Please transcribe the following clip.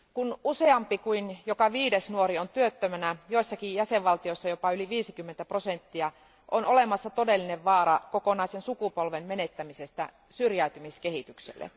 Kun useampi kuin joka viides nuori on työttömänä, joissakin jäsenvaltioissa jopa yli 50 prosenttia, on olemassa todellinen vaara kokonaisen sukupolven menettämisestä syrjäytymiskehitykselle.